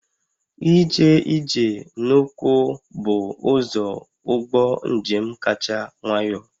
Ije ije n'ụkwụ bụ ụzọ ụgbọ njem kacha nwayọ